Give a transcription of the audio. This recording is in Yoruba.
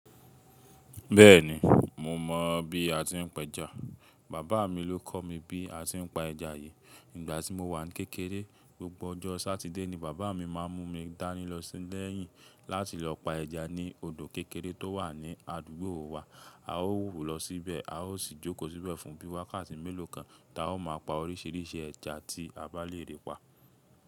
Bẹ́ẹ̀ni, mo mọ̀ bí a ti ń pẹja. Bàbá mi ló kọ̀ mí bí a ti ń pa ẹja yìí. Nígbà tí mo wà n kékeré, gbogbo ọjọ́ Sátidé ni bàbá mi máa ń mú mi dání lọ sílẹ̀yìn láti lọ pa ẹja ní odò kékeré tó wà ní àdúgbò wa. A ó wú lọ síbẹ̀, a ó sì jókòó síbẹ̀ fún bí i wákàtí mélòó kan ta ó máa pa oríṣiríṣi ẹja tí a bá lè rí pa.